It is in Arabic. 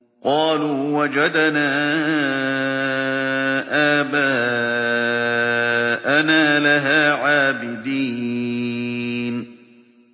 قَالُوا وَجَدْنَا آبَاءَنَا لَهَا عَابِدِينَ